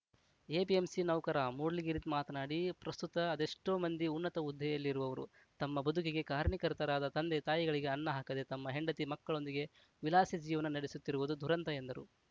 APMC ನೌಕರ ಮೂಡಲಗಿರಿ ಮಾತನಾಡಿ ಪ್ರಸ್ತುತ ಅದೆಷ್ಟೋ ಮಂದಿ ಉನ್ನತ ಹುದ್ದೆಯಲ್ಲಿರುವವರು ತಮ್ಮ ಬದುಕಿಗೆ ಕಾರಣೀಕರ್ತರಾದ ತಂದೆ ತಾಯಿಗಳಿಗೆ ಅನ್ನ ಹಾಕದೆ ತಮ್ಮ ಹೆಂಡಿತಿ ಮಕ್ಕಳೊಂದಿಗೆ ವಿಲಾಸಿ ಜೀವನ ನಡೆಸುತ್ತಿರುವುದು ದುರಂತ ಎಂದರು